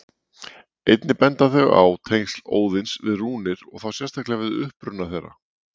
Einnig benda þau á tengsl Óðins við rúnir og þá sérstaklega við uppruna þeirra.